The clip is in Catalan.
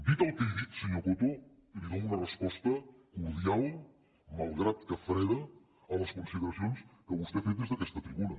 dit el que he dit senyor coto li dono una resposta cordial malgrat que freda a les consideracions que vostè ha fet des d’aquesta tribuna